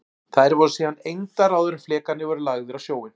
Þær voru síðan egndar áður en flekarnir voru lagðir á sjóinn.